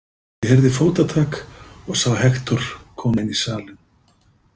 Ég heyrði fótatak og sá Hektor koma inn í salinn.